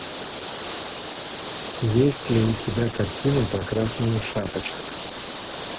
есть ли у тебя картина про красную шапочку